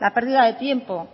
la pérdida de tiempo